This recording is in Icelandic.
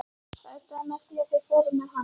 Það endaði með því að þeir fóru með hann.